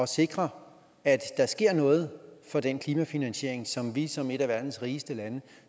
sikre at der sker noget for den klimafinansiering som vi som et af verdens rigeste lande